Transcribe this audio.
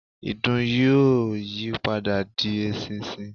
ìdin yóò yí padà di eṣinṣin